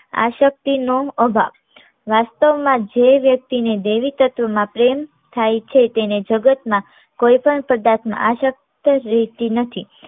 આશક્તિ નો અભાવ. વાસ્તવમાં જે વ્યક્તિ ને દૈવી તત્વ મા પ્રેમ થાય છે તેને જગતમાં કોઈ પણ પદાર્થ મા આશક્ત રહેતી નથી